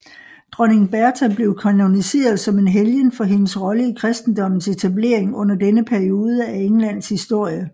Dronning Bertha blev kanoniseret som en helgen for hendes rolle i kristendommens etablering under denne periode af Englands historie